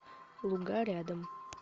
луга рядом